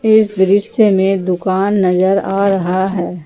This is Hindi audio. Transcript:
इस दृश्य में दुकान नजर आ रहा है।